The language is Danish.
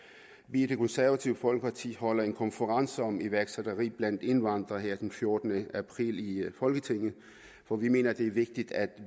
vi i det konservative folkeparti holder en konference om iværksætteri blandt indvandrere her den fjortende april i folketinget for vi mener at det er vigtigt at